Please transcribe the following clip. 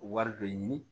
Wari dɔ ɲini